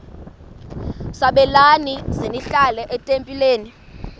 sabelani zenihlal etempileni